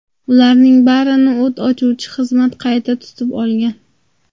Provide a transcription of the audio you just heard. Ularning barini o‘t o‘chiruvchi xizmat payti tutib olgan.